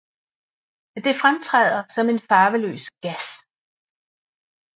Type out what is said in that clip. Det fremtræder som en farveløs gas